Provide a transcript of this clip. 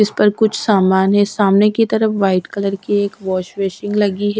इस पर कुछ सामान है सामने की तरफ व्हाइट कलर की एक वॉश बेसिन लगी है।